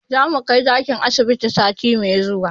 Zamu kai zakin asibiti sati mai zuwa